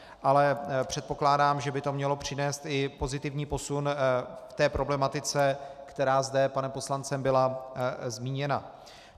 Ale předpokládám, že by to mělo přinést i pozitivní posun v té problematice, která zde panem poslancem byla zmíněna.